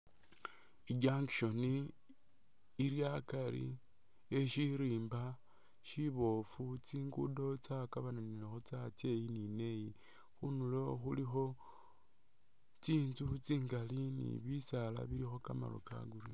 I junction ili akari e shirimba shibofu, tsingudo tsa kabananilakho tsatsa iyi ni neyi khundulo khulikho tsi ntsu tsingali ni bisaala bilikho kamaru ka green.